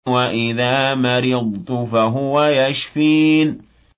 وَإِذَا مَرِضْتُ فَهُوَ يَشْفِينِ